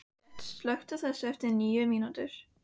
Gret, slökktu á þessu eftir níu mínútur.